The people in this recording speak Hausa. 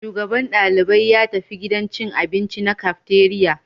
Shugaban dalibai ya tafi gidan cin abinci na cafeteria